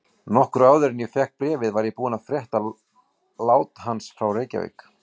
Nokkru áður en ég fékk bréfið var ég búinn að frétta lát hans frá Reykjavík.